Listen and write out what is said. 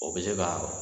O bɛ se ka